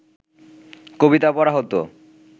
কবিতা পড়া হত